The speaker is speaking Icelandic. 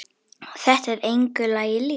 Þetta er engu lagi líkt.